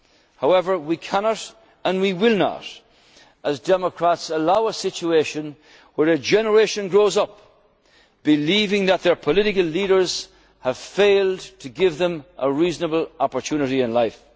is acceptable. However, we cannot and we will not as democrats allow a situation where a generation grows up believing that their political leaders have failed to give them a reasonable opportunity